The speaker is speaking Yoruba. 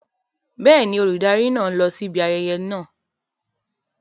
Bẹ́ẹ̀ni, olùdarí náà ń lọ síbi ayẹyẹ náà.